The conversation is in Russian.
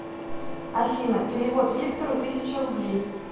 афина перевод виктору тысяча рублей